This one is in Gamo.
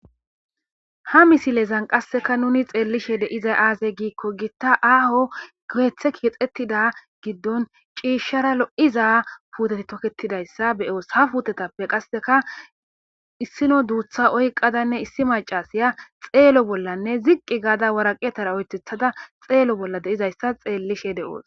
Ha misilezan qasseka nuni xeellishe de7izay aazey giikko giitta aaho gowethe kiexettida giddon ciishshara lo;iza puuteti tokketidayssa be7oos ha puutetappe qasseka issino duutha oyqadanne issi macasiya xeelo bollanne ziqqi gaada waraqetara oythethada xeelo bolla deizayssa xeellishe de'oos.